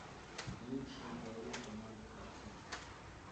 лучшие голы команды халл сити